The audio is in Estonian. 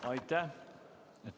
Aitäh!